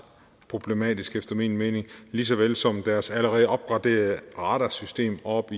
problematisk efter min mening lige såvel som deres allerede opgraderede radarsystem oppe